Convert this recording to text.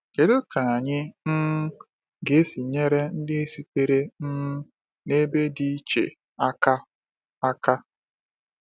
Kedu ka anyị um ga-esi nyere ndị sitere um n’ebe dị iche aka? aka?